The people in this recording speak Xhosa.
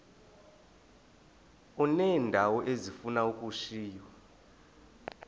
uneendawo ezifuna ukushiywa